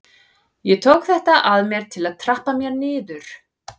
Ég tók þetta að mér til að trappa mér niður.